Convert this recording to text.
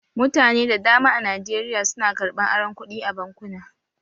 Mutane da dama a Najeriya su na karɓan aron kuɗi a bankuna